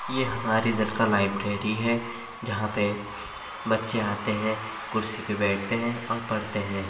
ये हमारे इधर का लाइब्रेरी है जहाँ पे बच्चे आतें हैं कुर्सी पे बैठते हैं और पढ़ते हैं।